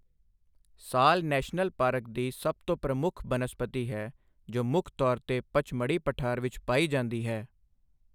ਸਾਲ national park ਦੀ ਸਭ ਤੋਂ ਪ੍ਰਮੁੱਖ ਬਨਸਪਤੀ ਹੈ ਜੋ ਮੁੱਖ ਤੌਰ 'ਤੇ ਪਚਮੜੀ ਪਠਾਰ ਵਿੱਚ ਪਾਈ ਜਾਂਦੀ ਹੈ।